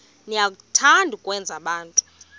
niyathanda ukwenza abantu